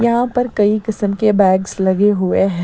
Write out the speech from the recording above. यहां पर कई किस्म के बैग्स लगे हुए हैं।